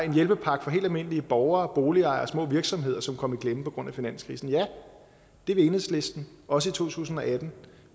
en hjælpepakke for helt almindelige borgere og boligejere og små virksomheder som kom i klemme på grund af finanskrisen og ja det vil enhedslisten også i to tusind og atten